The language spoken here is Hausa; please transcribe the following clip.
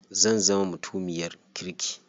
Zan zama mutumiyar kirki.